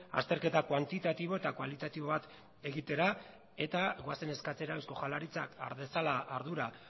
azterketa kuantitatibo eta kualitatibo bat egitera eta goazen eskatzera eusko jaurlaritzak har dezala ardura